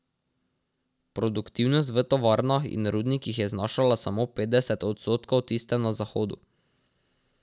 Produktivnost v tovarnah in rudnikih je znašala samo petdeset odstotkov tiste na Zahodu.